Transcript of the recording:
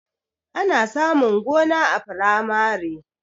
Ana samun gona a firamare